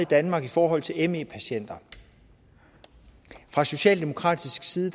danmark i forhold til me patienter fra socialdemokratisk side